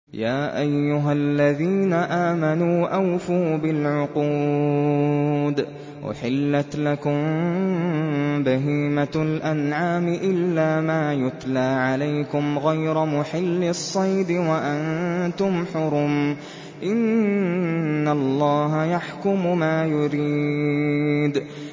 يَا أَيُّهَا الَّذِينَ آمَنُوا أَوْفُوا بِالْعُقُودِ ۚ أُحِلَّتْ لَكُم بَهِيمَةُ الْأَنْعَامِ إِلَّا مَا يُتْلَىٰ عَلَيْكُمْ غَيْرَ مُحِلِّي الصَّيْدِ وَأَنتُمْ حُرُمٌ ۗ إِنَّ اللَّهَ يَحْكُمُ مَا يُرِيدُ